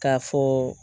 K'a fɔ